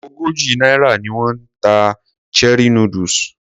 Ogójì náírà ni wón ń ta cherie noodles.